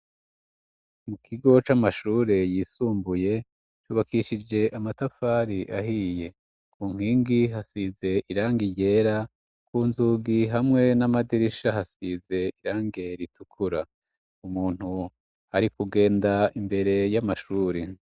Mukigo c'amashure yisumbuye hubakishije amatafari ahiye kunkingi hasize irangi ryera, kunzugi hamwe n'amadirisha hasize irangi ritukura, umuntu arikugenda imbere y'amashuri.